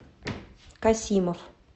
касимов